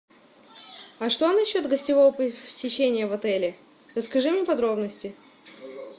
а что насчет гостевого посещения в отеле расскажи мне подробности